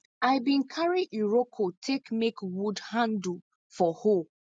i bin carry iroko take make wood handle for hoe